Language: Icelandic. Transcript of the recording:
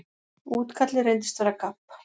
Útkallið reyndist vera gabb.